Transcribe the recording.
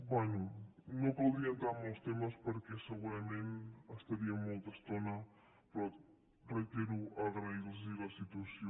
bé no caldria entrar en molts temes perquè segurament estaríem molta estona però ho reitero agrair los la situació